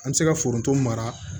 An bɛ se ka foronto mara